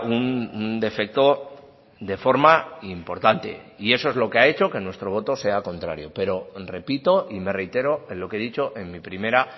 un defecto de forma importante y eso es lo que ha hecho que nuestro voto sea contrario pero repito y me reitero en lo que he dicho en mi primera